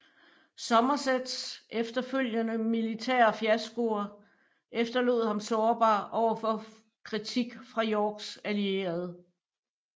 Somersets efterfølgende militære fiaskoer efterlod ham sårbar over for kritik fra Yorks allierede